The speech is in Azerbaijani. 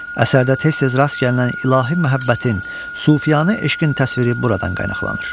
Əsərdə tez-tez rast gəlinən ilahi məhəbbətin, sufiyanə eşqin təsviri buradan qaynaqlanır.